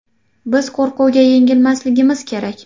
Biz qo‘rquvga yengilmasligimiz kerak.